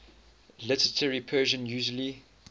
literary persian usually